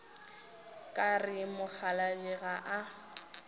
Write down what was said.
ka re mokgalabje ga a